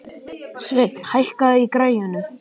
Sveinn, hækkaðu í græjunum.